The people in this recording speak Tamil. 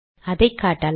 அதை காட்டலாம்